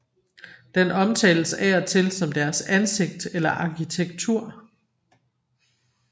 Den omtales af og til som deres ansigt eller arkitektur